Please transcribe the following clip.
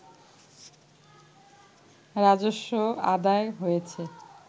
রাজস্ব আদায় হয়েছে